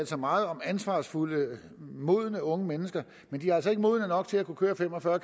sig meget om ansvarsfulde modne unge mennesker men de er altså ikke modne nok til at kunne køre fem og fyrre